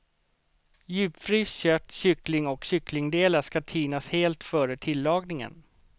Djupfryst kött, kyckling och kycklingdelar skall tinas helt före tillagningen.